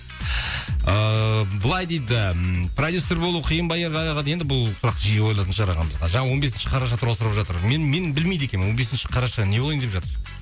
ыыы былай дейді ммм продюссер болу қиын ба ерғали аға дейді енді бұл сұрақ жиі қойылатын шығар ағамызға жаңа он бесінші қараша туралы сұрап жатыр мен мен білмейді екенмін он бесінші қараша не болайын деп жатыр